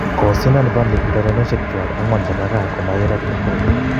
Kosindan Burnley urerenoshek chwak angwan chebo Kaa komakirat kol.